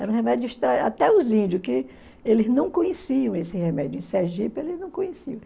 Era um remédio estranho, até os índios, que eles não conheciam esse remédio, em Sergipe eles não conheciam.